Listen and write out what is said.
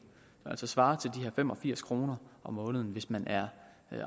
svarende til de her fem og firs kroner om måneden hvis man er